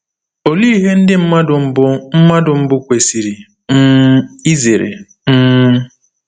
Olee ihe ndị mmadụ mbụ mmadụ mbụ kwesiri um izere? um